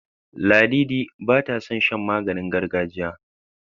Ladidi bata son shan maganingargajiya.